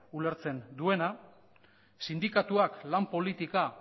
ulertzen duena sindikatuak lan politika